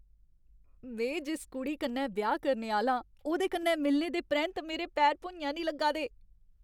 में जिस कुड़ी कन्नै ब्याह् करने आह्‌ला आं ओह्दे कन्नै मिलने दे परैंत्त मेरे पैर भुञां निं लग्गा दे।